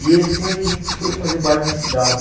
E eles tinham uma equipe que foi fazer baile nesse Dalva.